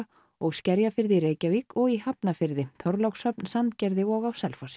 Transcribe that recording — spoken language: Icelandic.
og Skerjafirði í Reykjavík og í Hafnarfirði Þorlákshöfn Sandgerði og á Selfossi